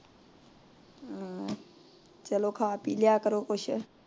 ਹਮ ਚਲੋ ਖਾ ਪੀ ਲਿਆ ਕਰੋ ਕੁਛ